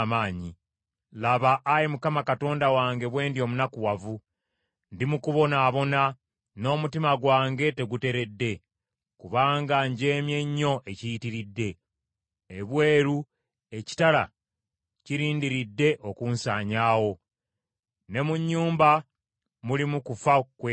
“Laba, Ayi Mukama Katonda bwe ndi omunakuwavu! Ndi mu kubonaabona, n’omutima gwange teguteredde kubanga njeemye nnyo ekiyitiridde. Ebweru ekitala kirindiridde okunsanyaawo, ne mu nnyumba mulimu kufa kwereere.